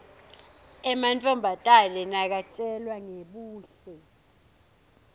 emantfombatane nakatjelwa ngebuhle